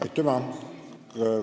Aitüma!